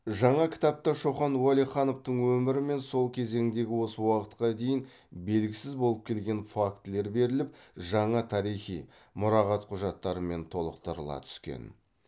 жаңа кітапта шоқан уәлихановтың өмірі мен сол кезеңдегі осы уақытқа дейін белгісіз болып келген фактілер беріліп жаңа тарихи мұрағат құжаттарымен толықтырыла түскен